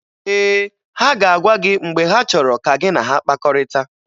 Ee, ha ga-agwa gị mgbe ha chọrọ ka gị na ha kpakọrịta.